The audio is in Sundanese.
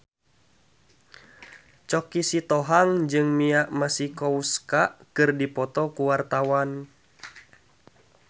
Choky Sitohang jeung Mia Masikowska keur dipoto ku wartawan